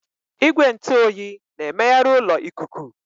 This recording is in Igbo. Igwe ntụ oyi na-emegharị ụlọ ikuku.